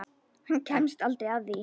Hann kemst aldrei að því.